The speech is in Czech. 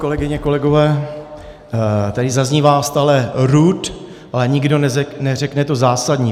Kolegyně, kolegové, tady zaznívá stále RUD, ale nikdo neřekne to zásadní.